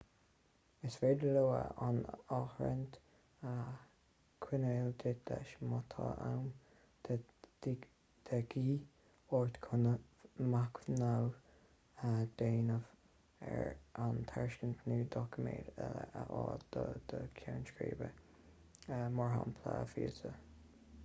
is féidir leo an áirithint a choinneáil duit leis má tá am de dhíth ort chun machnamh a dhéanamh ar an tairiscint nó doiciméid eile a fháil do do cheann scríbe e.g. víosa